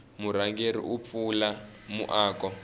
murhangeri u pfula muako